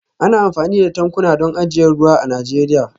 Ana amfani da tankuna don ajiyar ruwa a Najeriya